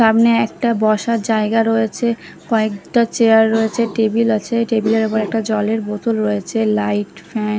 সামনে একটা বসার জায়গা রয়েছে কয়েকটা চেয়ার রয়েছে টেবিল আছে টেবিলের উপরে একটা জলের বোতল রয়েছে লাইট ফ্যান --